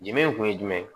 Jɛnɛ in kun ye jumɛn ye